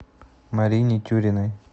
марине тюриной